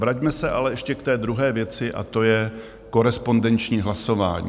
Vraťme se ale ještě k té druhé věci, a to je korespondenční hlasování.